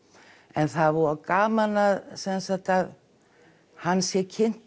en það er voða gaman sem sagt að hann sé kynntur